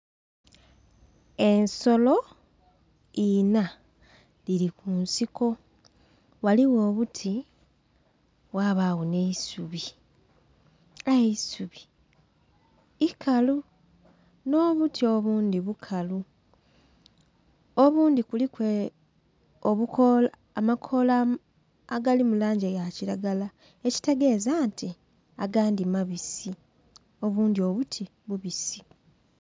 Ensolo inha dhiri ku nsiko ghaligho obuti ghabagho nhe eisubi aye eisubi ikalu nho obuti obundhi bukalu, obundhi kuliku amakoola agali mu langi eya kilagala ekitegeza nti agandhi mabisi, obundhi obuti bubisi.